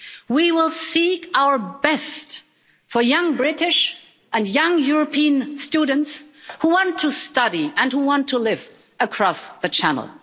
We will seek our best for young British and young European students who want to study and who want to live across the Channel.